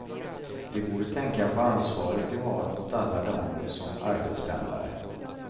De borde tänka på ansvaret de har mot alla dem som arbetspendlar.